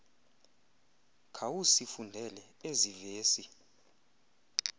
khawusifundele ezi vesi